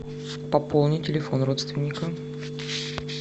пополни телефон родственника